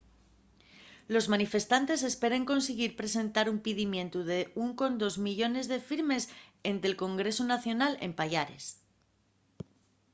los manifestantes esperen consiguir presentar un pidimientu de 1.2 millones de firmes énte’l congresu nacional en payares